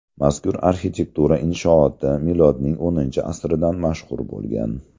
Mazkur arxitektura inshooti milodning X asridan mashhur bo‘lgan.